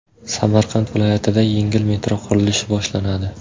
Samarqand viloyatida yengil metro qurilishi boshlanadi.